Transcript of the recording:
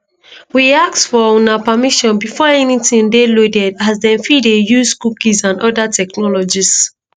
we ask for una permission before anytin dey loaded as dem fit dey use cookies and oda technologies.